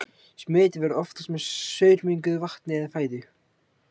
Smit verður oftast með saurmenguðu vatni eða fæðu.